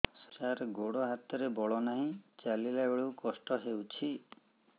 ସାର ଗୋଡୋ ହାତରେ ବଳ ନାହିଁ ଚାଲିଲା ବେଳକୁ କଷ୍ଟ ହେଉଛି